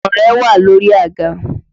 Ìwọ̀n rẹ wà lórí àga